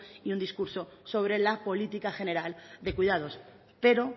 y un discurso sobre la política general de cuidados pero